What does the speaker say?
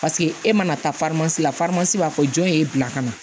Paseke e mana taa la b'a fɔ jɔn ye bila ka na